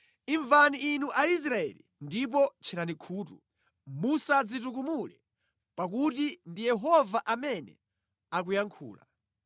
Imvani inu Aisraeli ndipo tcherani khutu, musadzitukumule, pakuti ndi Yehova amene akuyankhula.